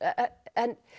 en